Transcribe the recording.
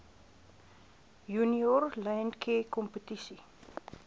junior landcare kompetisie